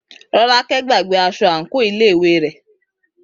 Rọ́lákẹ́ gbàgbé aṣọ àǹkóò iléèwé rẹ̀.